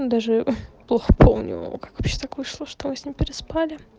ну даже плохо помню как вообще так вышло что мы с ним переспали